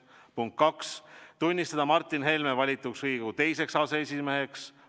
Punkt kaks: tunnistada Martin Helme valituks Riigikogu teiseks aseesimeheks.